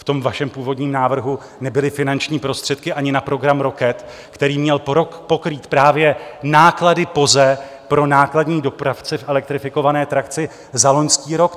V tom vašem původním návrhu nebyly finanční prostředky ani na program ROCET, který měl pokrýt právě náklady POZE pro nákladní dopravce v elektrifikované trakci za loňský rok.